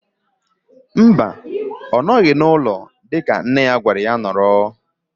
Mba, ọ nọghị n'ụlọ dịka nne ya gwara ya nọrọ.